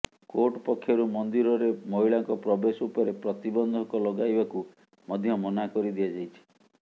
court ପକ୍ଷରୁ ମନ୍ଦିରରେ ମହିଳାଙ୍କ ପ୍ରବେଶ ଉପରେ ପ୍ରତିବନ୍ଧକ ଲଗାଇବାକୁ ମଧ୍ୟ ମନା କରିଦିଆଯାଇଛି